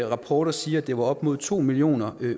rapporter siger at det var op mod to millioner